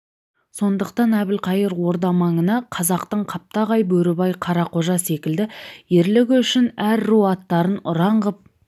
сондықтан әбілқайыр орда маңына қазақтың қаптағай бөрібай қарақожа секілді ерлігі үшін әр ру аттарын ұран ғып